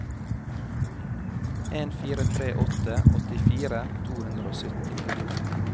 en fire tre åtte åttifire to hundre og sytti